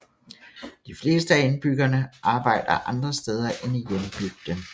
De fleste af indbyggerne arbejder andre steder end i hjembygden